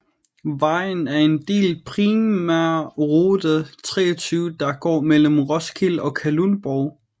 Vejen er en del af primærrute 23 der går mellem Roskilde og Kalundborg